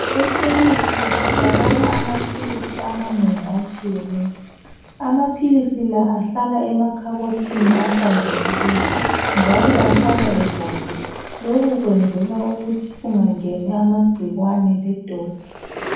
Ekhemesi kutholakala amapilisi amanengi atshiyeneyo. Amapilisi la ahlala emakabhothini ahlanzekileyo, njalo ahlala evaliwe. Lokho kwenzelwa ukuthi kungangeni amagcikwane ledoti.